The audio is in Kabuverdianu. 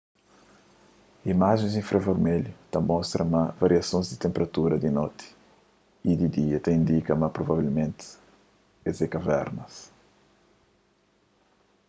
imajens infravermelhu ta mostra ma variasons di tenperatura di noti y di dia ta indika ma provavelmenti es é kavernas